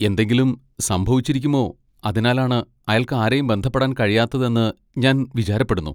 എന്തെങ്കിലും സംഭവിച്ചിരിക്കുമോ അതിനാലാണ് അയാൾക്ക് ആരെയും ബന്ധപ്പെടാൻ കഴിയാത്തതെന്ന് ഞാൻ വിചാരപ്പെടുന്നു.